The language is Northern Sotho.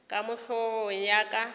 ka mo hlogong ya ka